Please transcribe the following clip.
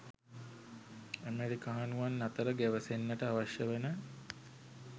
අමෙරිකානුවන් අතර ගැවසෙන්නට අවශ්‍ය වන